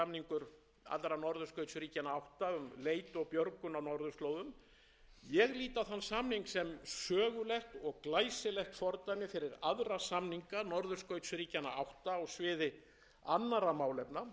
og um rannsóknir hér var fyrir skömmu í reykjavík gerður fyrsti samningur allra norðurskautsríkjanna átta um leit og björgun á norðurslóðum ég lít á þann samning sem sögulegt og glæsilegt fordæmi fyrir aðra samninga norðurskautsríkjanna átta á sviði annarra málefna sem tengjast norðurslóðum